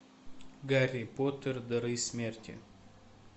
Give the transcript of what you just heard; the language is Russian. гарри поттер дары смерти